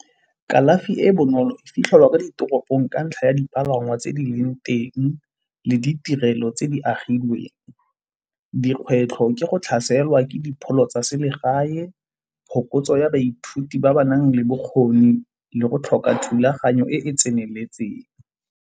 Kalafi e e bonolo e fitlhelwa ka ditoropong ka ntlha ya dipalangwa tse di leng teng le ditirelo tse di agilweng. Dikgwetlho ke go tlhaselwa ke dipholo tsa selegae, phokotso ya baithuti ba ba nang le bokgoni le go tlhoka thulaganyo e e tseneletseng.